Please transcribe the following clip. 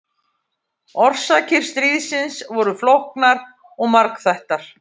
Orsakir stríðsins voru flóknar og margþættar.